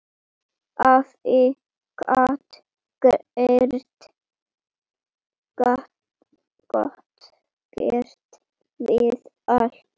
Afi gat gert við allt.